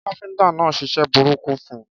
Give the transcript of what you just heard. Káfíntà náà ṣiṣẹ́ burúkú fun